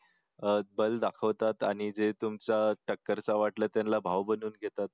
दल दाखवतात आणि जे तुमच्या टक्कर चा वाटला त्याला भाऊ बनवून घेतात